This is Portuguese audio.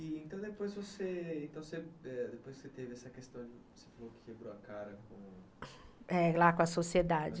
E então depois você teve essa questão que você falou que quebrou a cara com... É, lá com a sociedade.